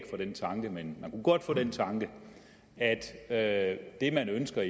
fra den tanke men kunne godt få den tanke at at det man ønsker